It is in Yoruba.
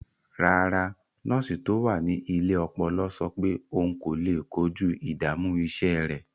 Rárá, nọ́ọ̀sì tó wà ní ilé ọpọlọ sọ pé òun kò lè kojú ìdààmú iṣẹ́ rẹ̀.